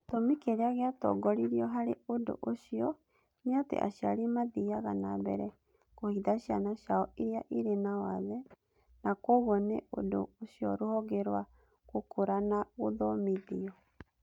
Gĩtũmi kĩrĩa gĩatongoririo harĩ ũndũ ũcio nĩ atĩ aciari mathiaga na mbere kũhitha ciana ciao iria irĩ na wathe na kwoguo nĩ ũndũ ũcio Rũhonge rwa Gũkũra na Gũthomithio